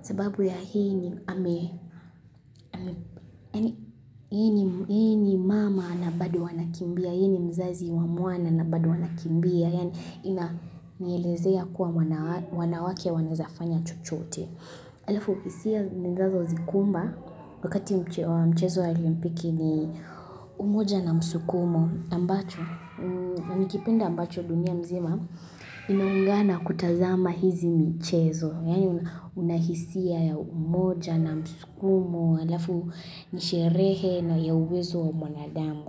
Sababu ya hii ni mama na bado wanakimbia. Hii ni mzazi wa mwana na bado wanakimbia. Inanielezea kuwa wanawake wanaweza kufanya chochote. Halafu, hisia zinazonikumba wakati mchezo wa olimpiki ni umoja na msukumo. Ambacho, ni kipindi ambacho dunia nzima inaungana kutazama hii michezo. Yaani unahisia ya umoja na msukumo, halafu ni sherehe ya uwezo wa mwanadamu.